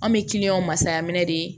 An bɛ masala minɛ de